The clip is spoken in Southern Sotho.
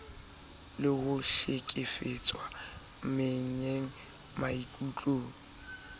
le ho hlekefetswa meyeng maikutlong